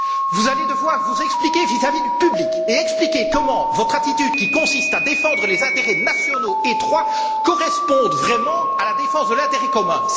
Vous allez devoir vous expliquer vis à vis du public et expliquer comment votre attitude, qui consiste à défendre des intérêts nationaux étroits, correspond vraiment à la défense de l'intérêt commun.